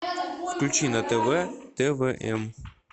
включи на тв твм